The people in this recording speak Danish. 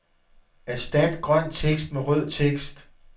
Erstat grøn tekst med rød tekst.